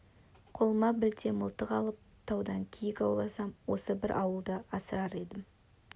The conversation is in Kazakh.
қолыма білте мылтық алып таудан киік ауласам осы бір ауылды асырар едім